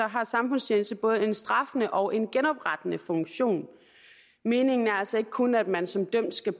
har samfundstjeneste både en straffende og en genoprettende funktion meningen er altså ikke kun at man som dømt skal